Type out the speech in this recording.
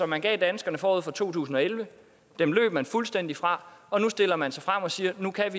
man gav danskerne forud for to tusind og elleve løb man fuldstændig fra og nu stiller man sig frem og siger at nu kan